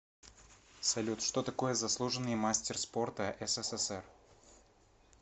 салют что такое заслуженный мастер спорта ссср